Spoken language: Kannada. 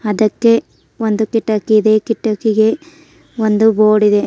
ಅದಕ್ಕೆ ಒಂದು ಕಿಟಕಿ ಇದೆ ಕಿಟಕಿಗೆ ಒಂದು ಬೋರ್ಡ್ ಇದೆ.